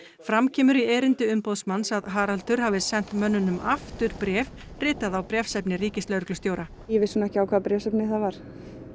fram kemur í erindi umboðsmanns að Haraldur hafi sent mönnunum aftur bréf ritað á bréfsefni ríkislögreglustjóra ég vissi nú ekki á hvaða bréfsefni það var